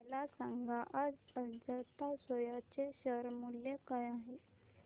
मला सांगा आज अजंता सोया चे शेअर मूल्य काय आहे